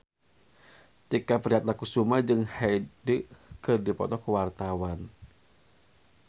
Tike Priatnakusuma jeung Hyde keur dipoto ku wartawan